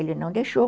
Ele não deixou.